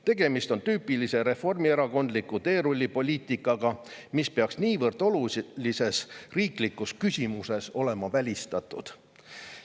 Tegemist on tüüpilise reformierakondliku teerullipoliitikaga, mis peaks niivõrd olulises riiklikus küsimuses olema välistatud.